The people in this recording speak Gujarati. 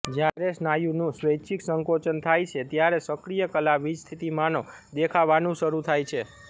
જ્યારે સ્નાયુનું સ્વૈચ્છિક સંકોચન થાય છે ત્યારે સક્રિય કલા વીજસ્થિતિમાનો દેખાવાનું શરૂ થાય છે